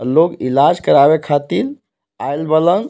लोग इलाज करावे खातीन आइल बाड़न.